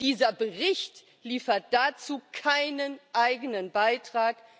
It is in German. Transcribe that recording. Dieser Bericht liefert dazu keinen eigenen Beitrag.